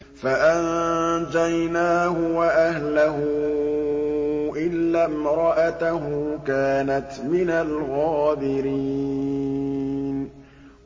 فَأَنجَيْنَاهُ وَأَهْلَهُ إِلَّا امْرَأَتَهُ كَانَتْ مِنَ الْغَابِرِينَ